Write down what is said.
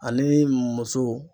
Ani muso.